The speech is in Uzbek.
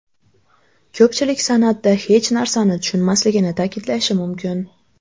Ko‘pchilik san’atda hech narsani tushunmasligini ta’kidlashi mumkin.